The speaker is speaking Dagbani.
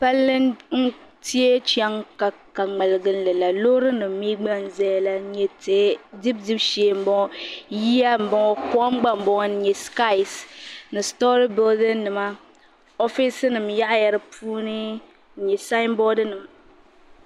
Palli n teei chaŋ ka ka ŋmaliginli la loorinima mi gba n zaya la n nya tihi dibi dibi shee m bo ŋɔ yiya m bo ŋɔ kom gba m bo ŋɔ n nya sikaisi ni sitoori buludinima ofiisinim yaɣa ya di puuni n nya sayinborinima.